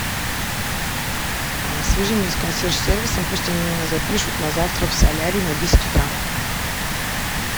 свяжи меня с консьерж сервисом пусть они меня запишут на завтра в солярий на десять утра